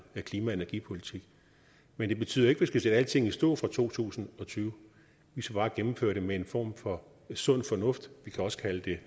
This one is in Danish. klima og energipolitik men det betyder ikke vi skal sætte alting i stå fra to tusind og tyve vi skal bare gennemføre det med en form for sund fornuft vi kan også kalde det